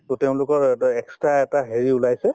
to তেওঁলোকৰ অ এটা extra এটা হেৰি ওলাইছে